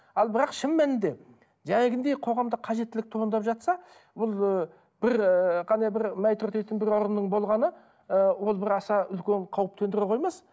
ал бірақ шын мәнінде қоғамда қажеттілік туындап жатса ол ы бір ііі ғана бір орынның болғаны і ол бір аса үлкен қауіп төндіре қоймас